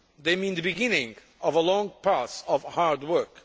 They mean the beginning of a long path of hard work.